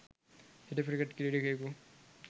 හිටපු ක්‍රිකට් ක්‍රීඩකයකු